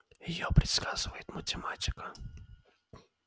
её предсказывает математика